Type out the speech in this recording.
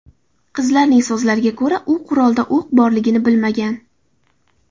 Qizning so‘zlariga ko‘ra, u qurolda o‘q borligini bilmagan.